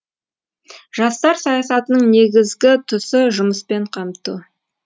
жастар саясатының негізгі тұсы жұмыспен қамту